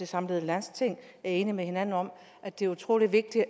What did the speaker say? samlede landsting er enig med hinanden om at det er utrolig vigtigt